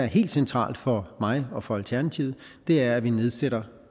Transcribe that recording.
er helt centralt for mig og for alternativet er at vi nedsætter